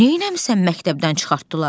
Neynəmisən məktəbdən çıxartdılar?